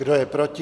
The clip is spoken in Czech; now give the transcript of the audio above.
Kdo je proti?